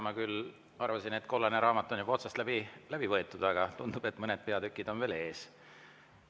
Ma küll arvasin, et kollane raamat on juba läbi võetud, aga tundub, et mõned peatükid on veel ees.